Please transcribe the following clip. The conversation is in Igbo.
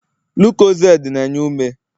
lucozade na-enye ume